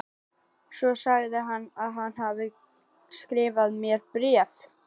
Svo sagðist hann hafa skrifað mér bréf.